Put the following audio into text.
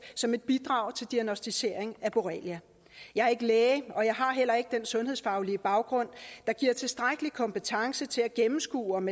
som et bidrag til diagnosticering af borrelia jeg er ikke læge og jeg har heller ikke den sundhedsfaglige baggrund der giver tilstrækkelig kompetence til at gennemskue om